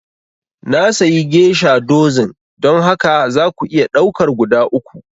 Na sayi geisha dozin, don haka za ku iya ɗaukar guda uku